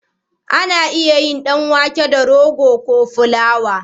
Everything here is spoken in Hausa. Ana iya yin dan wake da rogo ko fulawa